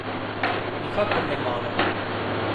Nikakor ne malo.